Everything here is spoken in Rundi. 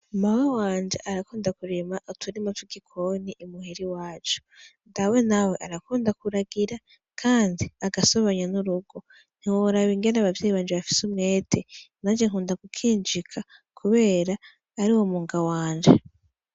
Mawe wanje arakunda kurima uturimu vwe gikoni imuheri wacu ndawe nawe arakunda kuragira, kandi agasobanya n'urugo ntiworaba ingene abavyeyi banje bafise umwete naje nkunda gukinjika, kubera ari uwo munga wanje.